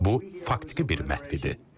Bu, faktiki bir məhv idi.